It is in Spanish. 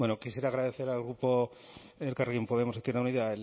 quisiera agradecer al grupo elkarrekin podemos izquierda unida